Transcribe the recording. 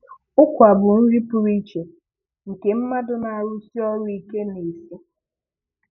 Ụkwa bụ nri pụrụ iche nke mmadụ na-arụsi ọrụ ike na-esi.